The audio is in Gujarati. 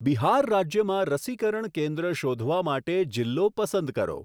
બિહાર રાજ્યમાં રસીકરણ કેન્દ્ર શોધવા માટે જિલ્લો પસંદ કરો.